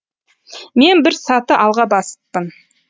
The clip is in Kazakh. мен бір саты алға басыппын